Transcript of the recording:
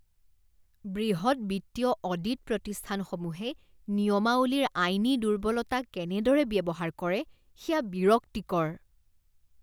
বৃহৎ বিত্তীয় অডিট প্ৰতিষ্ঠানসমূহে নিয়মাৱলীৰ আইনী দুৰ্বলতা কেনেদৰে ব্যৱহাৰ কৰে সেয়া বিৰক্তিকৰ।